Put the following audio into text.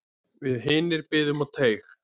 Við hinir biðum á teig.